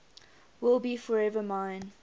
will be forever mine